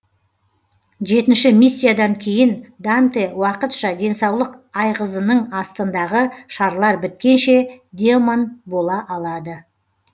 жетінші миссиядан кейін данте уақытша денсаулық айғызының астындағы шарлар біткенше демон бола алады